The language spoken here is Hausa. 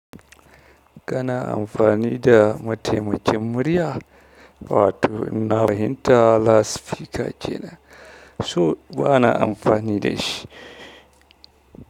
Kana amfani da mataimakin murya? Wato inna fahimta lasifika kenan, so ba na amfani da shi.